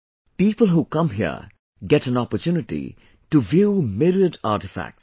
People who come here get an opportunity to view myriad artefacts